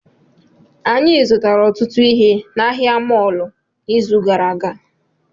Anyị zụtara ọtụtụ ihe na ahịa mọọlụ n'izu gara aga